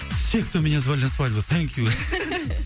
все кто меня звали на свадьбу сенькю